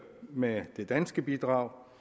med det danske bidrag